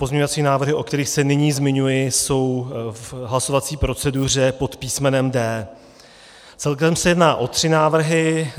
Pozměňovací návrhy, o kterých se nyní zmiňuji, jsou v hlasovací proceduře pod písmenem D. Celkem se jedná o tři návrhy.